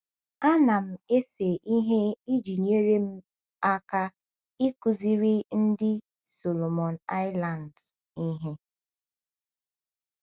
Ana m ese ihe iji nyere m aka ịkụziri ndị Solomon Islands ihe